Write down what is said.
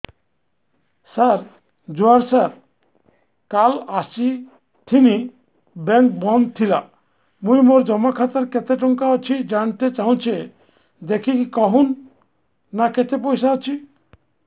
ସାର ଜୁହାର ସାର କାଲ ଆସିଥିନି ବେଙ୍କ ବନ୍ଦ ଥିଲା ମୁଇଁ ମୋର ଜମା ଖାତାରେ କେତେ ଟଙ୍କା ଅଛି ଜାଣତେ ଚାହୁଁଛେ ଦେଖିକି କହୁନ ନା କେତ ପଇସା ଅଛି